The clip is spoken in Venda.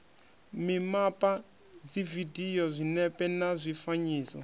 mimapa dzividio zwinepe na zwifanyiso